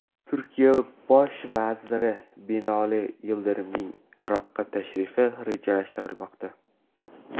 Turkiya bosh vaziri Binoli Yildirimning Iroqqa tashrifi rejalashtirilmoqda.